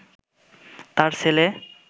তাঁর ছেলে